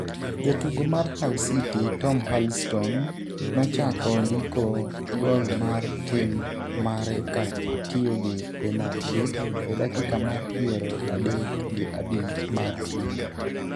Jatugo mar Hull City Tom Huddlestone nochako ndiko gol mar tim mare ka otiyo gi penalti e dakika mar piero adek gi abich mar tugo.